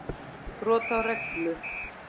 Brot á reglu.